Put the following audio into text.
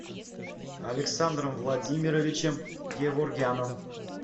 александром владимировичем геворгяном